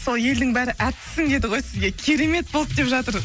сол елдің бәрі әртіссің деді ғой сізге керемет болды деп жатыр